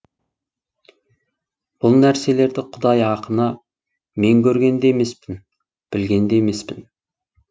бұл нәрселерді құдай ақына мен көрген де емеспін білген де емеспін